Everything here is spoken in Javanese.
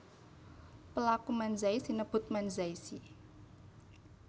Pelaku Manzai sinebut Manzai shi